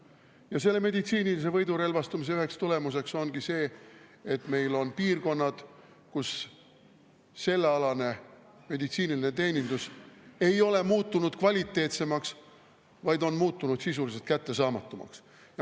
Ja selle meditsiinilise võidurelvastumise üheks tulemuseks ongi see, et meil on piirkonnad, kus sellealane meditsiiniline teenindus ei ole muutunud kvaliteetsemaks, vaid on muutunud sisuliselt kättesaamatumaks.